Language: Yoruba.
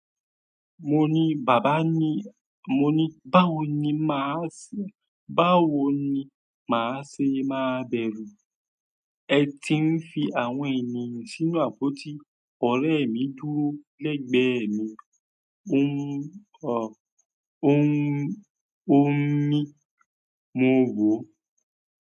Mo ní, bàbá ni, mo ní báwo ni máa ṣé, báwo ni máa ṣe máa bẹ̀rù? Ẹ ti ń fi àwọn ènìyàn sínú àpótí. Ọ̀rẹ́ mi dúró lẹ́gbẹ̀ẹ́ mi. Ó ńi, a ó ńí, a ó ń mí mo wòó.